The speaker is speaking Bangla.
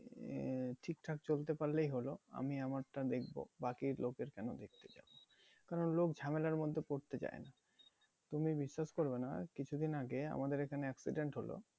আহ ঠিকঠাক চলতে পারলেই হলো আমি আমারটা দেখবো বাকি লোকের কেন দেখতে যাবো? কেন লোক ঝামেলার মধ্যে পরতে চায় না। তুমি বিশ্বাস করবে না কিছু দিন আগে আমাদের এখানে accident হলো